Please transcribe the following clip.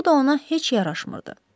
Bu da ona heç yaraşmırdı.